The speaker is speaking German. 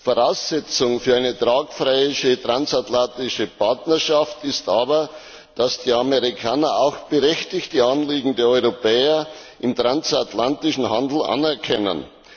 Voraussetzung für eine tragfähige transatlantische Partnerschaft ist aber, dass die Amerikaner auch berechtigte Anliegen der Europäer im transatlantischen Handel anerkennen.